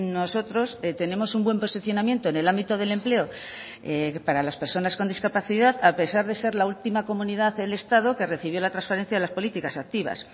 nosotros tenemos un buen posicionamiento en el ámbito del empleo para las personas con discapacidad a pesar de ser la última comunidad del estado que recibió la transferencia de las políticas activas